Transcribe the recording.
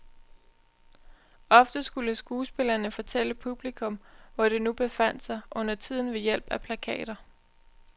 Ofte skulle skuespillerne fortælle publikum hvor det nu befandt sig, undertiden ved hjælp af plakater.